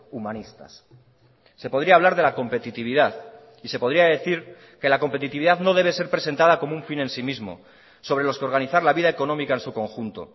humanistas se podría hablar de la competitividad y se podría decir que la competitividad no debe ser presentada como un fin en sí mismo sobre los que organizar la vida económica en su conjunto